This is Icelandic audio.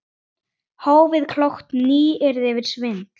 Hófið- Klókt nýyrði yfir svindl?